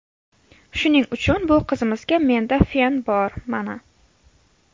Shuning uchun bu qizimizga menda fen bor, mana.